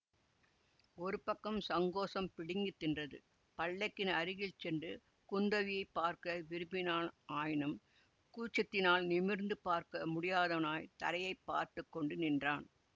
ஒரு பக்கம் சங்கோசம் பிடுங்கி தின்றது பல்லக்கின் அருகில் சென்று குந்தவியை பார்க்க விரும்பினான் ஆயினும் கூச்சத்தினால் நிமிர்ந்து பார்க்க முடியாதவனாய்த் தரையைப் பார்த்து கொண்டு நின்றான்